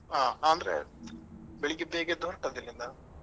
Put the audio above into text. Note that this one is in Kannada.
ಆ ಅಂದ್ರೆ ಬೆಳಿಗ್ಗೆ ಬೇಗ ಎದ್ದು ಹೊರಟದ್ದು ಇಲ್ಲಿಂದ ಸೀದಾ